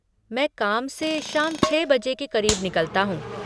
मैं काम से शाम छः बजे के क़रीब निकलता हूँ।